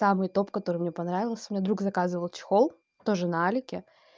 самый топ который мне понравился мне друг заказал чехол тоже на алике